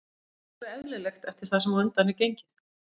Það er alveg eðlilegt eftir það sem á undan er gengið.